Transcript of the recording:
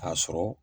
K'a sɔrɔ